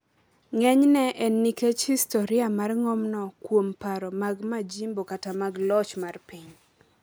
ng’enyne en nikech historia mar ng’omno kuom paro mag majimbo kata mag loch mar piny.